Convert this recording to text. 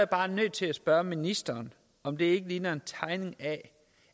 bare nødt til at spørge ministeren om det ikke ligner en tegning af